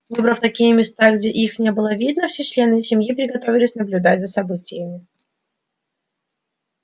выбрав такие места где их не было видно все члены семьи приготовились наблюдать за событиями